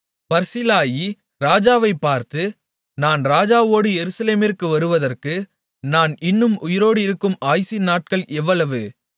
Barzillai ராஜாவைப் பார்த்து நான் ராஜாவோடு எருசலேமிற்கு வருவதற்கு நான் இன்னும் உயிரோடிருக்கும் ஆயுசின் நாட்கள் எவ்வளவு